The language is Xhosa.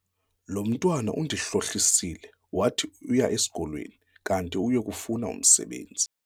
Lo mntwana undihlohlisile wathi uya esikolweni kanti uye kufuna umsebenzi.